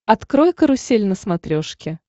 открой карусель на смотрешке